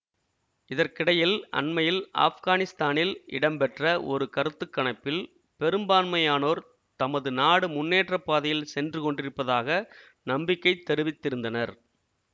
இதற்கிடையில் அண்மையில் ஆப்கானிஸ்தானில் இடம்பெற்ற ஒரு கருத்து கணிப்பில் பெரும்பான்மையானோர் தமது நாடு முன்னேற்ற பாதையில் சென்றுகொண்டிருப்பதாக நம்பிக்கை தெரிவித்திருந்தனர்